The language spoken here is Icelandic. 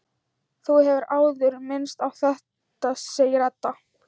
Þú hefur áður minnst á þetta, segir Edda.